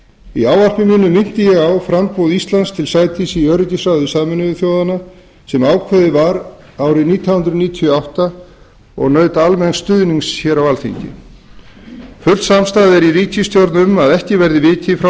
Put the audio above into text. í ávarpi mínu minnti ég á framboð íslands til sætis í öryggisráði sameinuðu þjóðanna sem ákveðið var árið nítján hundruð níutíu og átta og naut almenns stuðnings á alþingi full samstaða er í ríkisstjórn um að ekki verði vikið frá